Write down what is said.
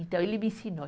Então, ele me ensinou.